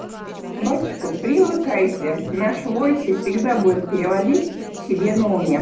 батюшка привыкайте наш войсе всегда будет переводить себе на уме